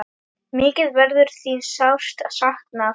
Mikið verður þín sárt saknað.